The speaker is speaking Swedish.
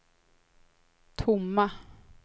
tomma